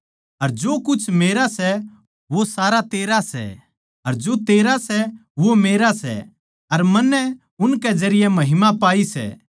अर जो कुछ मेरा सै वो सारा तेरा सै अर जो तेरा सै वो मेरा सै अर मन्नै उनके जरिये महिमा पाई सै